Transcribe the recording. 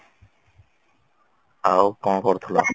ଆଉ କଣ କରୁଥିଲ